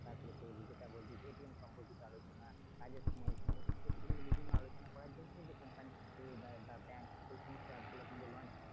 তারপর তুই যেটা বলছিস সম্পর্কিত আলোচনা, কাজের সময় সীমা এই সম্পর্কিত বিভিন্ন আলোচনা করার জন্যই কিন্তু company ইহঃ bank এই সমস্ত app গুলো কিন্তু launch